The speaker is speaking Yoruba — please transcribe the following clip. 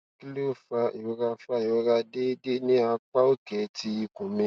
kini o fa irora fa irora deede ni apa oke ti ikun mi